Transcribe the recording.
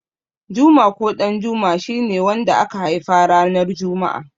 Juma ko Ɗanjuma shi ne wanda aka haifa ranar juma'a.